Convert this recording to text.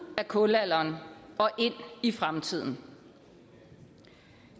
af kulalderen og ind i fremtiden